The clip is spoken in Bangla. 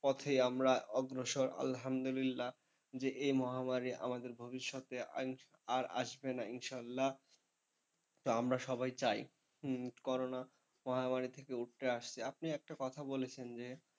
পথেই আমরা অগ্রসর আলহামদুলিল্লাহ যে এই মহামারী আমাদের ভবিষ্যতে আর আসবে না ইনশাল্লাহ, তো আমরা সবাই চাই করোনা মহামারী থেকে উতরে আসতে। আপনি একটা কথা বলেছেন যে,